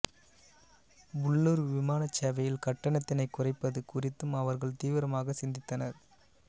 உள்ளூர் விமானச்சேவையில் கட்டணத்தினைக் குறைப்பது குறித்தும் அவர்கள் தீவிரமாக சிந்தித்தனர்